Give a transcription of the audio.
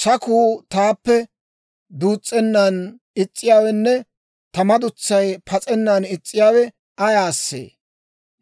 Sakuu taappe duus's'ennan is's'iyaawenne ta madutsay pas'ennan is's'iyaawe ayaasee?